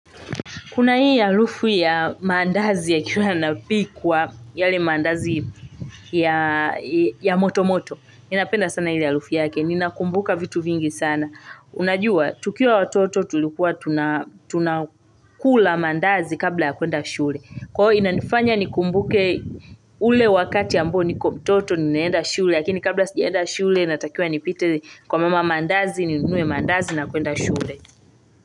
Kuna hii halufu ya maandazi yakiwa yanapikwa yale maandazi ya motomoto. Ninapenda sana ile halufu yake. Ninakumbuka vitu vingi sana. Unajua, tukiwaa watoto tulikuwa tunakula maandazi kabla ya kwenda shule. Kwa hiyo inanifanya nikumbuke ule wakati ambo nikiwa mtoto ninaenda shule. Lakini kabla sijaenda shule natakiawa nipite kwa mama maandazi ninunue maandazi na kwenda shule.